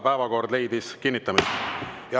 Päevakord leidis kinnitamist.